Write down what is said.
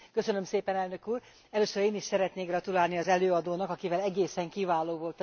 Először én is szeretnék gratulálni az előadónak, akivel egészen kiváló volt az együttműködésünk.